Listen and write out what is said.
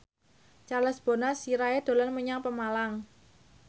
Charles Bonar Sirait dolan menyang Pemalang